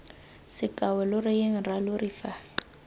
seako lo reyeng rralori fa